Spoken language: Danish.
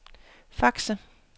faxer